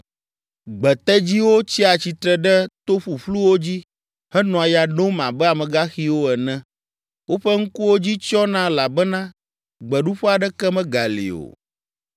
Gbetedziwo tsia tsitre ɖe to ƒuƒluwo dzi henɔa ya nom abe amegaxiwo ene. Woƒe ŋkuwo dzi tsyɔna elabena gbeɖuƒe aɖeke megali o.”